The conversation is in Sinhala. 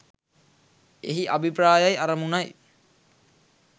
එහි අභිප්‍රායයි අරමුණයි.